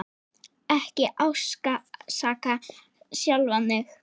Ekki ásaka sjálfan þig.